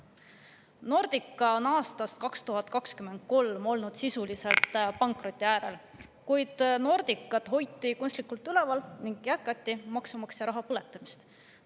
Nordica oli aastast 2023 sisuliselt pankroti äärel, kuid Nordicat hoiti kunstlikult üleval ning jätkati maksumaksja raha põletamist.